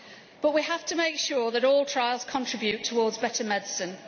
But we have to make sure that all trials contribute towards better medicine.